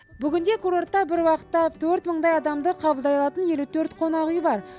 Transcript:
бүгінде курортта бір уақытта төрт мыңдай адамды қабылдай алатын елу төрт қонақүй бар